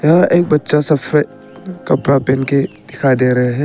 यह एक बच्चा सफेद कपड़ा पहन के दिखाई दे रहे हैं।